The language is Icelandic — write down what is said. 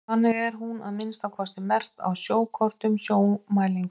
þannig er hún að minnsta kosti merkt á sjókortum sjómælinga